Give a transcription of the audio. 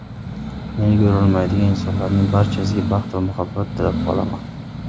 Meni ko‘rolmaydigan insonlarning barchasiga baxt va muhabbat tilab qolaman.